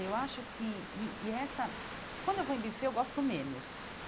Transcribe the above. Eu acho que e e essa quando eu vou em buffet, eu gosto menos.